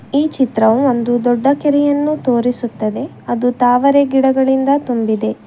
ಈ ಚಿತ್ರವು ಒಂದು ದೊಡ್ಡ ಕೆರೆಯನ್ನು ತೋರಿಸುತ್ತದೆ ಅದು ತಾವರೆ ಗಿಡಗಳಿಂದ ತುಂಬಿದೆ.